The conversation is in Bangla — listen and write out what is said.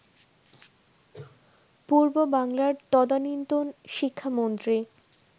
পূর্ববাংলার তদানীন্তন শিক্ষামন্ত্রী